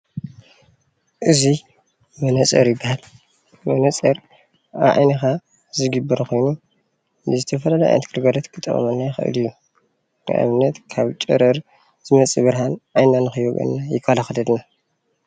እዙይ መነፀር ይበሃል። መነፀር ኣብ ዓይንካ ዝግበር ኮይኑ ዝተፈላለዩ ንዓይንና ግልጋሎት ክጠቅመና ይክእል እዩ ንብነት ካብ ጨረር ንዝመፅእ ብርሃን ዓይንና ከይ ወግአና ይኸላከለልና።